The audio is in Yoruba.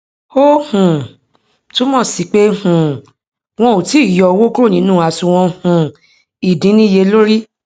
o um tun mo si pe um won o ti i yo owo kuro ninu asunwon um idinniyelori